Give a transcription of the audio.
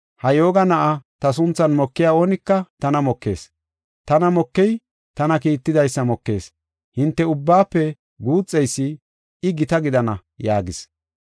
“Ha yooga na7aa ta sunthan mokiya oonika tana mokees, tana mokey tana kiittidaysa mokees, hinte ubbaafe guuxeysi, I gita gidana” yaagis.